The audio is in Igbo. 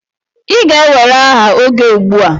Ị ga-ewere aha oge ugbua.